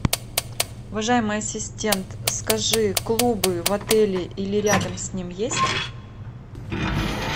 уважаемый ассистент скажи клубы в отеле или рядом с ним есть